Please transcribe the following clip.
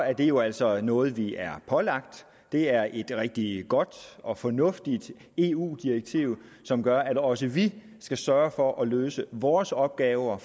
er det jo altså noget vi er pålagt det er et rigtig godt og fornuftigt eu direktiv som gør at også vi skal sørge for at løse vores opgaver